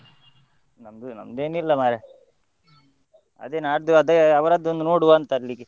ನಮ್ದು, ನಮ್ದೆನಿಲ್ಲ ಮಾರ್ರೆ ಅದೇ ನಾಡ್ದು ಅದೇ ಅವರದ್ದು ಒಂದು ನೋಡ್ವ ಅಂತ ಅಲ್ಲಿಗೆ.